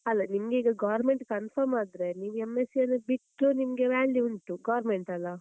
ಅಲ್ಲ. ನಿಮಗೀಗ government confirm ಆದ್ರೆ ನೀವ್ M.sc ಯನ್ನು ಬಿಟ್ರು ನಿಮಗೆ value ಉಂಟು government ಅಲಾ?